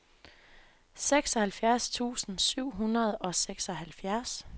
seksoghalvfjerds tusind syv hundrede og seksoghalvfjerds